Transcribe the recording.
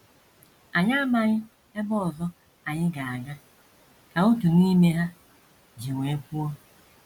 “ Anyị amaghị ebe ọzọ anyị ga - aga, ” ka otu n’ime ha ji iwe kwuo.